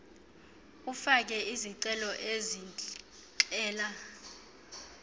ufake izicelo ezixela